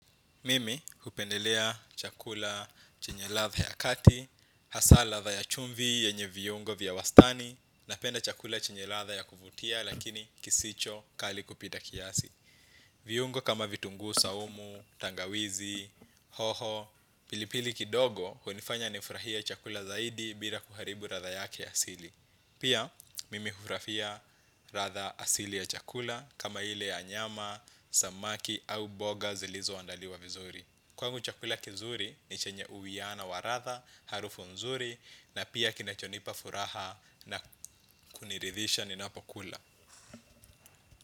Mimi hupendelea chakula chenye ladha ya kati, hasa ladha ya chumvi yenye viungo vya wastani, napenda chakula chenye ladha ya kuvutia lakini kisicho kali kupita kiasi. Viungo kama vitunguu saumu, tangawizi, hoho, pilipili kidogo hunifanya nifurahia chakula zaidi bila kuharibu ladha yake ya asili. Pia, mimi hufurahia ladha asili ya chakula kama ile ya nyama, samaki au mboga zilizoandaliwa vizuri. Kwangu chakula kizuri ni chenye uwiano wa ladha, harufu nzuri na pia kinachonipa furaha na kuniridhisha ninapokula.